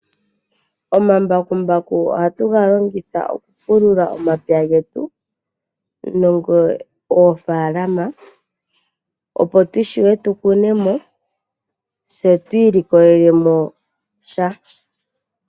Omambakumbaku ohatu galongitha oku pulula omapya getu nenge oofalama opo tushuwe tu kuneno se twilikolelemo sha.